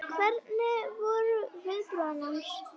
Hvernig, hver voru viðbrögð hans?